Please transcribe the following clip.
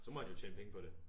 Så må han jo tjene penge på det